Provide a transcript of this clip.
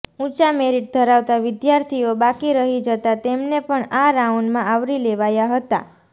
ઊંચા મેરિટ ધરાવતા વિદ્યાર્થીઓ બાકી રહી જતાં તેમને પણ આ રાઉન્ડમાં આવરી લેવાયા હતા